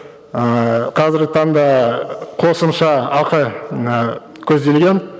ыыы қазіргі таңда қосымша ақы ы көзделген